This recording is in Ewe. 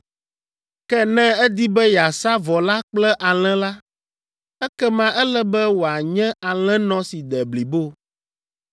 “ ‘Ke ne edi be yeasa vɔ la kple alẽ la, ekema ele be wòanye alẽnɔ si de blibo.